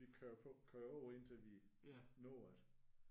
Vi kører på kører på indtil at vi når det